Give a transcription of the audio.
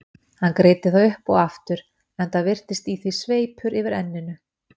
Hann greiddi það upp og aftur, enda virtist í því sveipur yfir enninu.